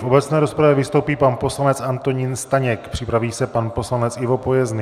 V obecné rozpravě vystoupí pan poslanec Antonín Staněk, připraví se pan poslanec Ivo Pojezný.